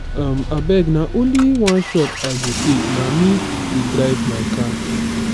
um abeg na only one shot i go take na me dey drive my car.